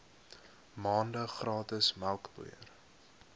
maande gratis melkpoeier